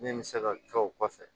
Min bɛ se ka kɛ o kɔfɛ